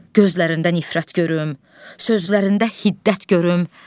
Gözlərində nifrət görüm, sözlərində hiddət görüm.